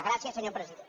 gràcies senyor president